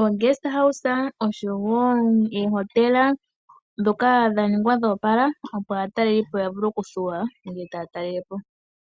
omilalo dhalongekidhilwa aatalelipo uuna tayeya okutalelapo.